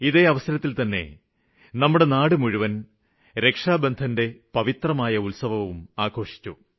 ഇതേ അവസരത്തില്തന്നെ നമ്മുടെ നാടു മുഴുവന് രക്ഷാബന്ധന്റെ പവിത്രമായ ഉത്സവവും ആഘോഷിച്ചു